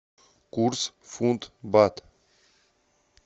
курс фунт бат